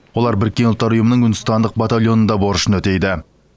олар біріккен ұлттар ұйымының үндістандық батальонында борышын өтейді